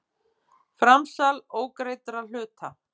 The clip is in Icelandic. Framsal ógreiddra hluta.